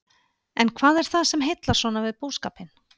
En hvað er það sem heillar svona við búskapinn?